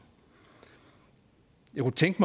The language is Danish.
jeg kunne tænke